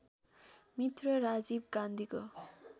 मित्र राजीव गान्धीको